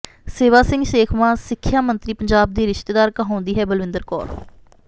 ਸੇਵਾ ਸਿੰਘ ਸੇਖਵਾਂ ਸਿੱਖਿਆ ਮੰਤਰੀ ਪੰਜਾਬ ਦੀ ਰਿਸ਼ਤੇਦਾਰ ਕਹਾਉਂਦੀ ਹੈ ਬਲਵਿੰਦਰ ਕੌਰ